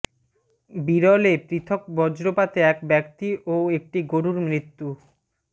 বিরলে পৃথক বজ্রপাতে এক ব্যক্তি ও একটি গরুর মৃত্যু